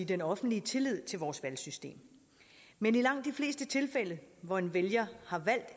den offentlige tillid til vores valgsystem men i langt de fleste tilfælde hvor en vælger har valgt